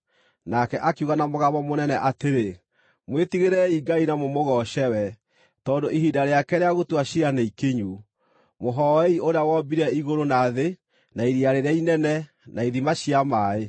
Nake akiuga na mũgambo mũnene atĩrĩ, “Mwĩtigĩrei Ngai na mũmũgooce we, tondũ ihinda rĩake rĩa gũtua ciira nĩikinyu. Mũhooei ũrĩa wombire igũrũ, na thĩ, na iria rĩrĩa inene, na ithima cia maaĩ.”